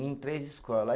Em três escola.